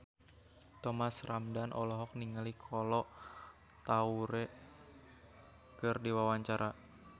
Thomas Ramdhan olohok ningali Kolo Taure keur diwawancara